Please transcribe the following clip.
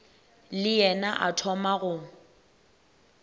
le yena a thoma go